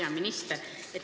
Hea minister!